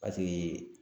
Paseke